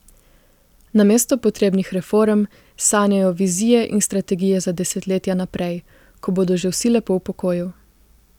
Namesto potrebnih reform sanjajo vizije in strategije za desetletja naprej, ko bodo že vsi lepo v pokoju.